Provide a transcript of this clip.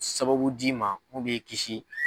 Sababu d'i ma mun b'i kisi